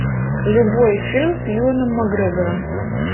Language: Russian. любой фильм с юэном макгрегором